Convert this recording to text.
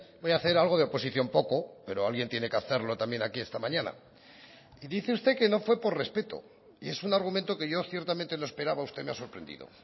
voy a hacer algo de oposición poco pero alguien tiene que hacerlo también aquí esta mañana y dice usted que no fue por respeto y es un argumento que yo ciertamente no esperaba usted me ha sorprendido